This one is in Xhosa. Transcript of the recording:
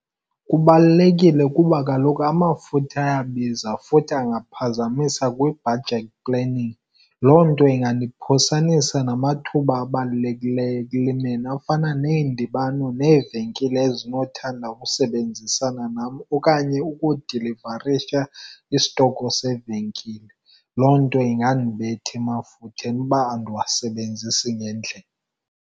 Kubalulekile kuba kaloku amafutha ayabiza futhi angaphazamisa kwi-budget planning. Loo nto ingandiphosanisa namathuba abalulekileyo ekulimeni afana neendibano neevenkile ezinothanda ukusebenzisana nam okanye ukudilivarisha isitoko sevenkile. Loo nto ingandibetha emafutheni uba andiwasebenzisi ngendlela.